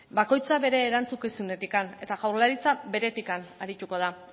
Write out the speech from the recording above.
bakoitza bere erantzukizunetik eta jaurlaritza beretik arituko da